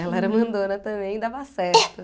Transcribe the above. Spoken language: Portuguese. Ela era mandona também e dava certo.